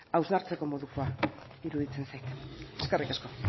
hausnartzeko modukoa iruditzen zait eskerrik asko